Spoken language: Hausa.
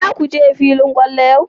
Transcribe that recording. Za ka je filin kwallo yau?